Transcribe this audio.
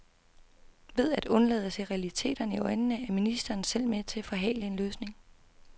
Ved at undlade at se realiteterne i øjnene er ministeren selv med til at forhale en løsning.